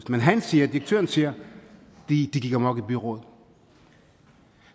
men han direktøren siger de gik amok i byrådet